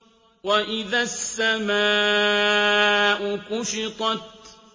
وَإِذَا السَّمَاءُ كُشِطَتْ